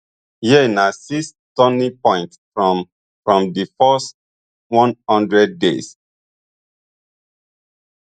here na six turning points from from di first one hundred days